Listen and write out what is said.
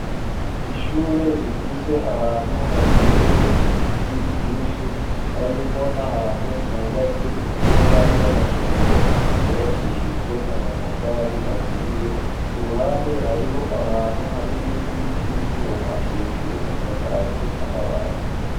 Ishure rifise ahantu hateye ibiti vyinshi harimwo n'ahantu hubatse ivyumba vy'amasomero vyubakishijwe amatafari aturiye ku ruhande hariho ahantu hari nkingi z'ivyuma hejuru hasakaje amabati.